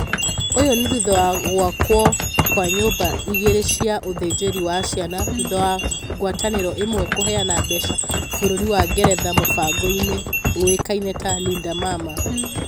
uu ni thutha wa gwakwo kwa nyũmba igĩrĩ cia ũthĩnjĩri wa ciana thutha wa ngwatanĩro ĩmwe kũheana mbeca bũrũri wa ngeretha mũfango uĩkaine ta Linda mama